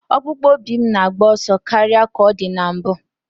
Ọkpụkpụ obi m na-agba ọsọ karịa ka ọ dị na mbụ.